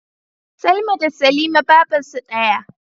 Salma da Salima babarsu daya